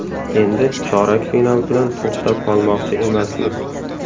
Endi chorak final bilan to‘xtab qolmoqchi emasmiz”.